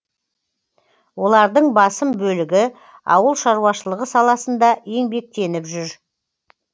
олардың басым бөлігі ауыл шаруашылығы саласында еңбектеніп жүр